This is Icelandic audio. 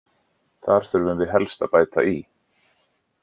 Þar þurfum við helst að bæta í.